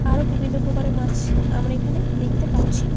আরো বিভিন্ন প্রকার এর মাছ আমরা এইখানে দেখতে পারছি ।